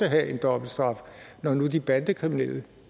have en dobbeltstraf når nu de bandekriminelle